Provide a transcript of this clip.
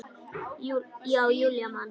Já, Júlía man.